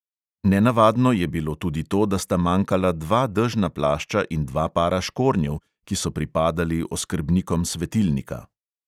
Nenavadno je bilo tudi to, da sta manjkala dva dežna plašča in dva para škornjev, ki so pripadali oskrbnikom svetilnika.